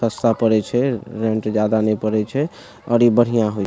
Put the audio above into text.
सस्ता पड़े छे रेंट जादा नेय पड़य छय और ई बढ़िया होई --